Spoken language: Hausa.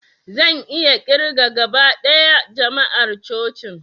Zan iya ƙirga gaba ɗaya jama'ar cocin